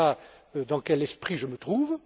Voilà dans quel esprit je me trouve.